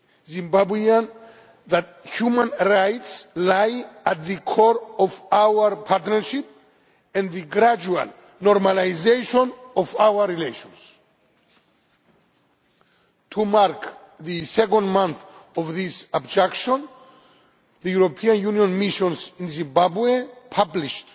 Zimbabwean Government that human rights lie at the core of our partnership and the gradual normalisation of our relations. To mark the second month of this abduction, the European Union missions in Zimbabwe published